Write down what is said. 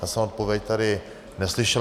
Já jsem odpověď tady neslyšel.